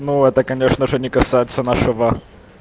ну это конечно же не касается нашего